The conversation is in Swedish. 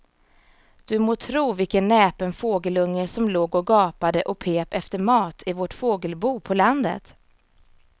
Du må tro vilken näpen fågelunge som låg och gapade och pep efter mat i vårt fågelbo på landet.